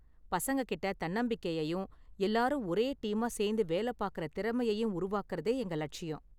பசங்ககிட்ட தன்னம்பிக்கையையும் எல்லாரும் ஒரே டீமா சேந்து வேல பாக்கற திறமையையும் உருவாக்குறதே எங்க லட்சியம்.